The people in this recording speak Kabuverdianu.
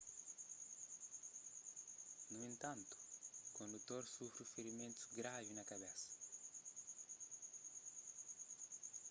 nu entantu kondutor sufri ferimentus gravi na kabesa